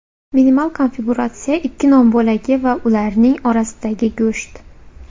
Minimal konfiguratsiya ikki non bo‘lagi va ularning orasidagi go‘sht.